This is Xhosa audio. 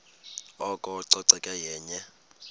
oko ucoceko yenye